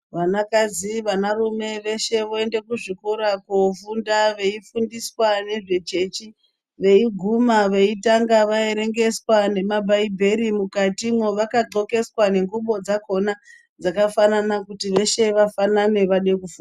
Vanakadzi vanarume veshe voende kuzvikora kofunda veifundiswa ngezvechechi veiguma veitange vaerengeswa nemabhaibheri mukati mwo vakadhlokeswa nengubo dzakona dzakafanana kuti veshe vaffanane vade kufunda.